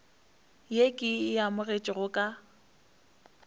ye ke e amogetšego ka